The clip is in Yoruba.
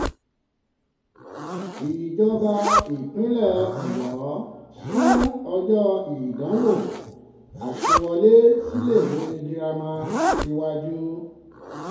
um ìjọba ìpínlẹ̀ ọ̀yọ́ sún ọjọ́ ìdánwò àṣẹwọlé síléèwé girama um girama um síwájú